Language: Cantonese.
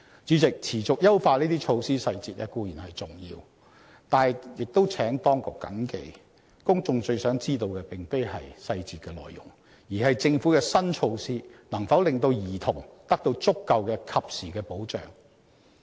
主席，持續優化這些措施細節固然重要，但亦請當局謹記，公眾最想知道的並非細節內容，而是政府的新措施能否令兒童得到足夠、及時的保障。